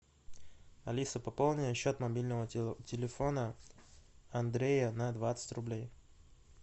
алиса пополни счет мобильного телефона андрея на двадцать рублей